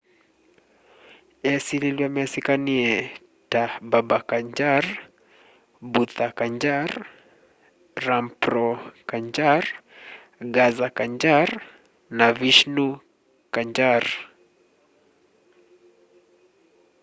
esililw'a mesikanie ta baba kanjar bhutha kanjar rampro kanjar gaza kanjar na vishnu kanjar